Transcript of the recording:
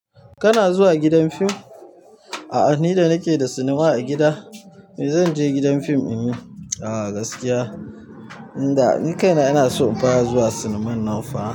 Kana zuwa gidan fim? Ni da nake da cinema a gida. Me zan je gidan fim. Gaskiya inda ni kaina ina so in fara zuwa cinema nan fa.